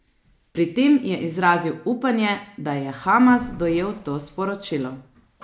Pri tem je izrazil upanje, da je Hamas dojel to sporočilo.